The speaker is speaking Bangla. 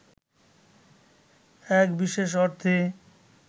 এক বিশেষ অর্থে